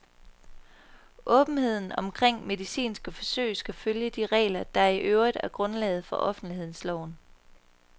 Åbenheden omkring medicinske forsøg skal følge de regler, der i øvrigt er grundlaget for offentlighedsloven.